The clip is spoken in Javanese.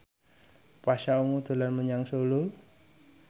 Pasha Ungu dolan menyang Solo